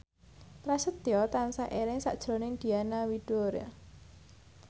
Prasetyo tansah eling sakjroning Diana Widoera